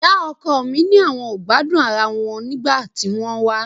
Ìyá ọkọ mi ni àwọn ò gbádùn ara wọn nígbà tí wọ́n wá